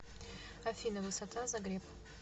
афина высота загреб